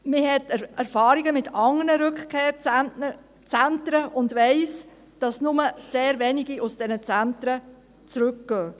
Man hat Erfahrungen mit anderen Rückkehrzentren und weiss, dass nur sehr wenige aus diesen Zentren zurückkehren.